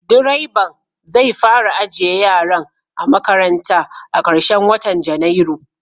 Direban zai fara ajiye yaran a makaranta a karshen watan Janairu.